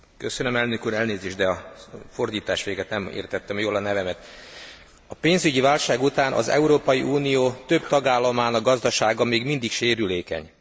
Köszönöm szépen elnök úr, de a fordítás végett nem értettem jól a nevemet. A pénzügyi válság után az Európai Unió több tagállamának gazdasága még mindig sérülékeny.